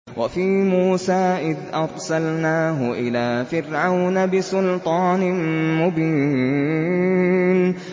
وَفِي مُوسَىٰ إِذْ أَرْسَلْنَاهُ إِلَىٰ فِرْعَوْنَ بِسُلْطَانٍ مُّبِينٍ